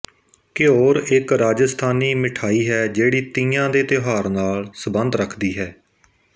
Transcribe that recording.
ਘਿਓਰ ਇੱਕ ਰਾਜਿਸਥਾਨੀ ਮਿਠਾਈ ਹੈ ਜਿਹੜੀ ਤੀਆਂ ਦੇ ਤਿਉਹਾਰ ਨਾਲ ਸਬੰਧ ਰੱਖਦੀ ਹੈ